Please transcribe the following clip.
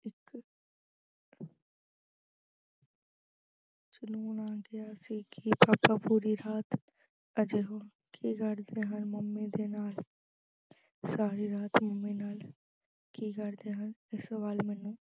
ਜਨੂੰਨ ਆ ਗਿਆ ਸੀ ਕਿ papa ਪੂਰੀ ਰਾਤ ਅਜਿਹਾ ਕੀ ਕਰਦੇ ਹਨ mummy ਦੇ ਨਾਲ ਸਾਰੀ ਰਾਤ mummy ਨਾਲ ਕੀ ਕਰਦੇ ਹਨ। ਇਹ ਸਵਾਲ ਮੈਨੂੰ